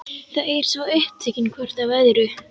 Þau eru svo upptekin hvort af öðru.